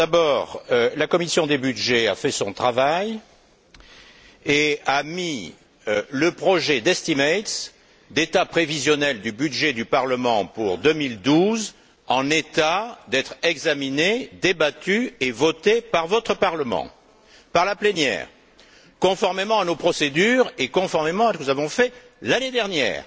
D'abord, la commission des budgets a fait son travail et a mis le projet d'état prévisionnel du budget du Parlement pour 2012 en état d'être examiné, débattu et voté par votre Parlement, par la plénière, conformément à nos procédures et conformément à ce que nous avons fait l'année dernière.